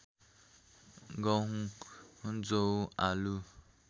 गहुँ जौ आलु